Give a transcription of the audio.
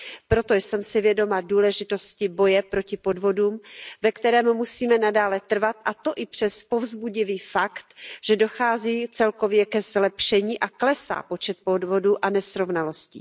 Proto jsem si vědoma důležitosti boje proti podvodům, ve kterém musíme nadále trvat, a to i přes povzbudivý fakt, že dochází celkově ke zlepšení a klesá počet podvodů a nesrovnalostí.